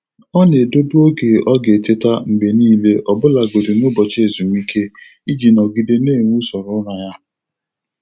Ọ na-edobe oge ọ ga-eteta mgbe niile ọbụlagodị n'ụbọchị ezumike, iji nọgide na-enwe usoro ụra ya.